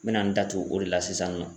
N mɛna n da tugu o de la sisan nɔ.